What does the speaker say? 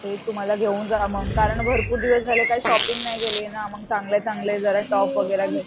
ते तू मला घेऊन जा मग कारण भरपूर दिवस झाले काही शॉपिंग नाही केलीये ना मग चांगले चांगले टॉप वगैरा घेऊन